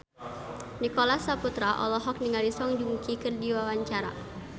Nicholas Saputra olohok ningali Song Joong Ki keur diwawancara